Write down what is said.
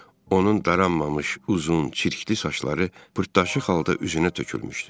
Onun daranmamış uzun, çirkli saçları pırtlaşıq halda üzünə tökülmüşdü.